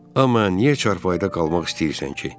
Amma niyə çarpayda qalmaq istəyirsən ki?